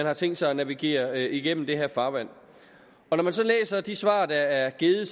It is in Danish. har tænkt sig at navigere igennem det her farvand og når man så læser de svar der er givet